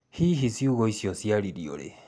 Hihi ciugo icio ciaririo rĩ?